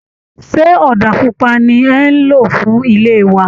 Ṣé ọ̀dà pupa ni ẹ̀ ń lò fún ilé wa?